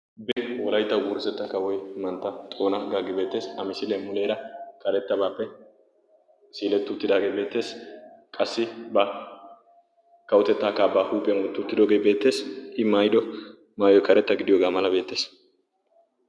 wolaytta wurssetta kawoy mantta xoona gaagi beetees a misiiliya muleera karettabaappe siiletti uttidaagee beettees qassi ba kawotettaakaa baa huuphiyaa wotti uttidoogee beettees i mayido maayoy karetta gidiyoogaa mala beettees